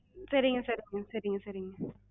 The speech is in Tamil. சரிங்க சரிங்க சரிங்க சரிங்க.